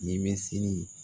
Ɲɛmisiri